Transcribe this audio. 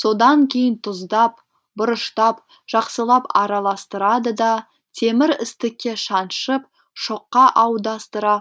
содан кейін тұздап бұрыштап жақсылап араластырады да темір істікке шаншып шоққа аудастыра